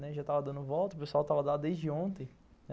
Já estava dando volta, o pessoal estava lá desde ontem.